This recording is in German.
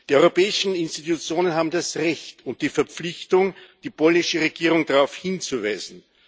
Der europäischen Institutionen haben das Recht und die Verpflichtung, die polnische Regierung darauf hinzuweisen.